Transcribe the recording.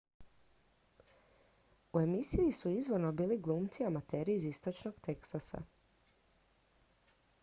u emisiji su izvorno bili glumci amateri iz istočnog teksasa